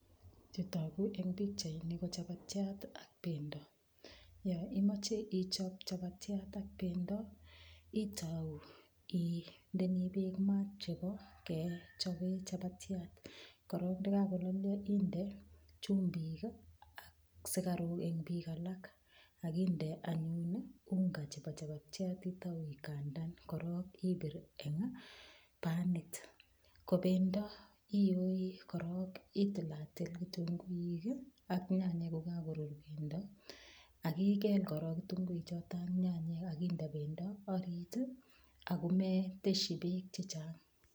Chetogu eng pichaini ko chapatiat ak pendo. Yo imache ichop chapatiat ak pendo itou indemi beek maat chebo kechobe chapatiat. kok ndakakololio inde chumbik ak sikaruk eng beek alak. Akinde anyun unga chebo chapatiat itau ikandan korok ipir eng panit. Ko pendo iyoi korok itilatil kitunguik ak nyanyek kokakorur pendo akikel korok kitunguik chotok ak nyanyek, akinde pendo orit akometeshi beek chechang.